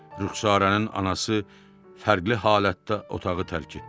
Rüxsarənin anası fərqli halətdə otağı tərk etdi.